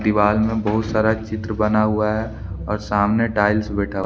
दीवार में बहुत सारा चित्र बना हुआ है और सामने टाइल्स बैठा--